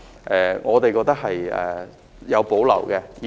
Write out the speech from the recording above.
對此我們是有保留的。